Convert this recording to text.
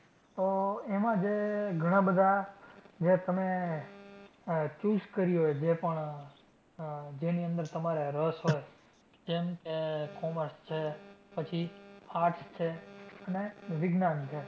તો એમાં જે ઘણાં બધાં જે તમે આહ choose કર્યું હોય જે પણ આહ જેની અંદર તમને રસ હોય. જેમકે, commerce છે, પછી arts છે, અને વિજ્ઞાન છે.